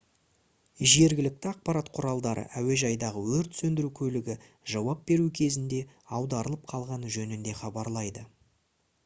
жергілікті ақпарат құралдары әуежайдағы өрт сөндіру көлігі жауап беру кезінде аударылып қалғаны жөнінде хабарлайды